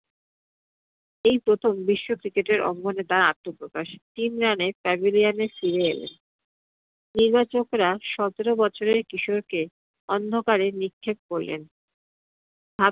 এই প্রথম বিশ্ব cricket এর অঙ্গনে তার আত্মপ্রকাশ। তিন রানে pavilion এ ফিরে এলেন। নির্বাচকরা সতের বছরের কিশোরকে অন্ধকারে নিক্ষেপ করলেন ভাব